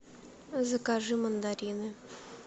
закажи мандарины